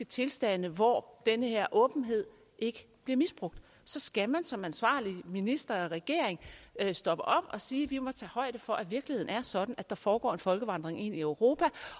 tilstande hvor denne åbenhed ikke bliver misbrugt så skal man som ansvarlig minister og regering stopper og sige vi må tage højde for at virkeligheden er sådan at der foregår en folkevandring ind i europa